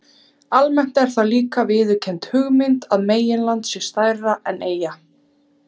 Almennt er það líka viðurkennd hugmynd að meginland sé stærra en eyja.